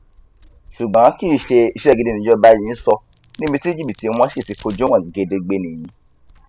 ṣùgbọn kì í ṣe iṣẹ gidi nijọba yìí ń sọ níbi tí jìbìtì wọn sì ti fojú hàn gedegbe nìyí